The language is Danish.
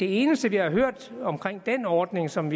eneste vi har hørt om den ordning som